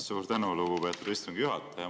Suur tänu, lugupeetud istungi juhataja!